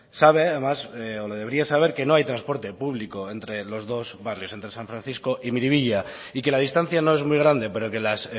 sabe además o lo debería saber que no hay transporte público entre los dos barrios entre san francisco y miribilla y que la distancia no es muy grande pero que las